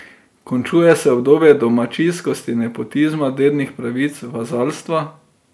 Končuje se obdobje domačijskosti, nepotizma, dednih pravic, vazalstva.